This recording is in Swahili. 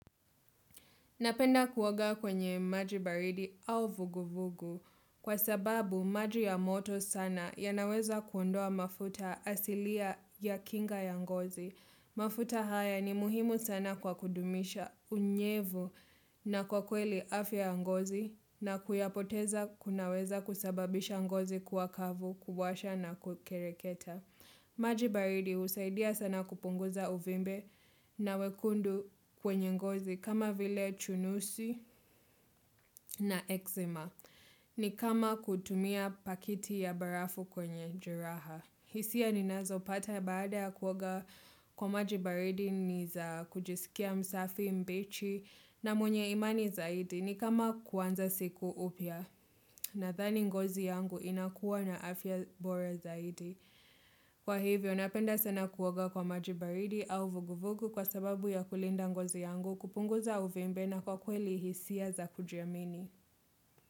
Napenda kuoaga kwenye maji baridi au vuguvugu kwa sababu maji ya moto sana ya yanaweza kuondoa mafuta asilia ya kinga ya ngozi. Mafuta haya ni muhimu sana kwa kudumisha unyevu na kwa kweli afya ya ngozi na kuyapoteza kunaweza kusababisha ngozi kuwa kavu kuwasha na kukereketa. Maji baridi husaidia sana kupunguza uvimbe na wekundu kwenye ngozi kama vile chunusi na eczema. Ni kama kutumia paketi ya barafu kwenye jeraha. Hisia ninazo pata baada ya kuoga kwa maji baridi ni za kujisikia msafi mbichi na mwenye imani zaidi. Ni kama kuanza siku upya nadhani ngozi yangu inakuwa na afya bora zaidi. Kwa hivyo, napenda sana kuoga kwa maji baridi au vuguvugu kwa sababu ya kulinda ngozi yangu, kupunguza uvimbe na kwa kweli hisia za kujiamini.